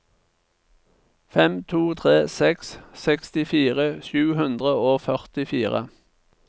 fem to tre seks sekstifire sju hundre og førtifire